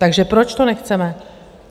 Takže proč to nechceme?